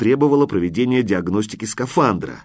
требовало проведения диагностики скафандра